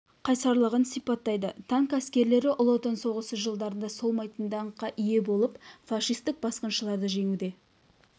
қайсарлығын сипаттайды танк әскерлері ұлы отан соғысы жылдарында солмайтын даңққа ие болып фашистік басқыншыларды жеңуде